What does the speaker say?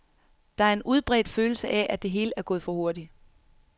Der en en udbredt følelse af, at det hele er gået for hurtigt.